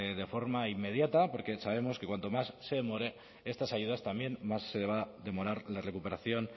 de forma inmediata porque sabemos que cuanto más se demore estas ayudas también se va a demorar la recuperación